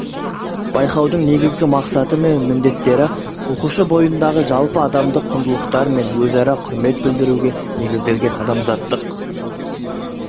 байқаудың негізгі мақсаты мен міндеттері оқушы бойындағы жалпы адамдық құндылықтар мен өзара құрмет білдіруге негізделген адамзаттық